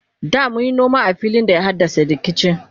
da munyi noma a filin da ya haddasa rikici